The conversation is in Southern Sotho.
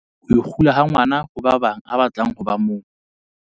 Ho ikgula ha ngwana ho ba bang a batla ho ba mong.